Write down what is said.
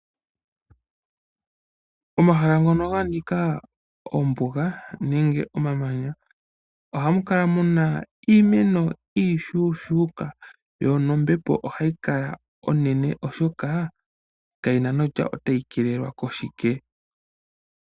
Omahala ngono ga nika oombuga nenge omamanya ohamu kala mu na iimeno iishuushuuka yo nombepo ohayi kala onene oshoka kayi na nokutya otayi keelelwa koshike.